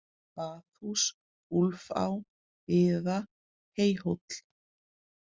Baðhús, Úlfá, Biða, Heyhóll